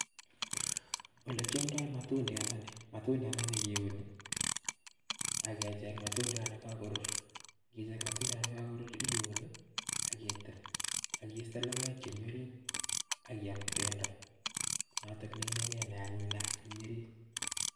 Olekiomndo matundiandani , matundiandani kiuni ak kecheng matundiat nekokorur, ng'icheng matundiat nekokorur iun ak itil ak istee lokoek chemii oriit ak iyam bendo notok neineken neanyin nea nemii oriit.